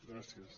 gràcies